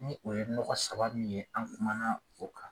Ni o ye nɔgɔ saba min ye an kuma o kan.